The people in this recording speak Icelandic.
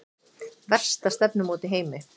Versta stefnumót í heimi